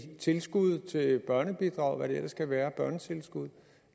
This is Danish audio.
tilskud til børnebidrag børnetilskud og hvad det ellers kan være